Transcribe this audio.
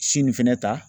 Si nin fɛnɛ ta